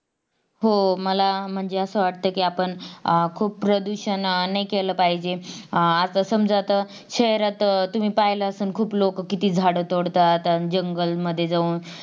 हो मला म्हणजे असं वाटतंय कि आपण अं खूप प्रदूषण नाही केले पाहिजेत अं आसा समाजा आता शहरात तुम्ही पाहिलात असाल खूप लोक किती झाड तोडतात जंगलमध्ये जाऊन